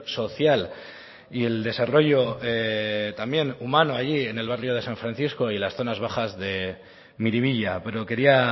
social y el desarrollo también humano allí en el barrio de san francisco y las zonas bajas de miribilla pero quería